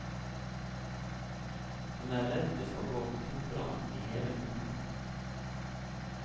Han er redd det skal gå koldbrann i hele foten.